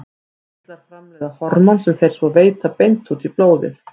Innkirtlar framleiða hormón sem þeir svo veita beint út í blóðið.